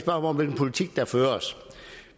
om hvilken politik der føres